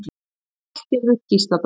Hallgerður Gísladóttir.